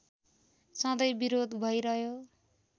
सधैँ विरोध भइरह्यो